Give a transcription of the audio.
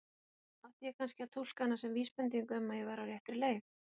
Átti ég kannski að túlka hana sem vísbendingu um að ég væri á réttri leið?